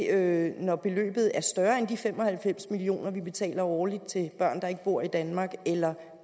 er det når beløbet er større end de fem og halvfems million kr vi betaler årligt til børn der ikke bor i danmark eller